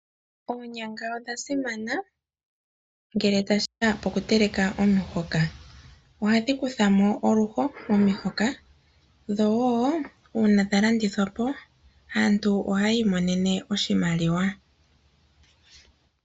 Oonyanga odhasimana ngele tashikeya okutelaka omuhoka. ohadhikuthamo oluho momihoka dho woo uuna dhalandithwapo aantu ohayiimonene oshimaliwa.